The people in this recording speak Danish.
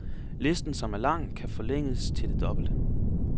Listen, som er lang, kan forlænges til det dobbelte.